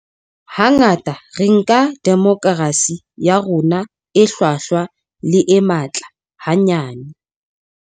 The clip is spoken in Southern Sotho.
Hangata re nka demokerasi ya rona e hlwahlwa le e matla hanyane.